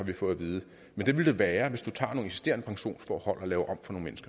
vi fået at vide men det ville det være hvis du tager nogle eksisterende pensionsforhold og laver